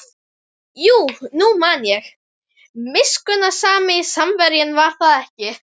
Já, nú man ég: miskunnsami Samverjinn, var það ekki?